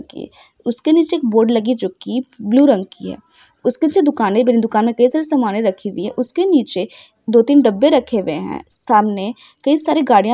इसके नीचे बोर्ड लगी जो ब्लू रंग की है| उसके नीचे दुकान बनी है| दुकान के नीचे सामान्य रखी है उसके नीचे दो-तीन डब्बे रखे हुए हैं| सामने कई सारी गाड़ियां भी खड़ी है।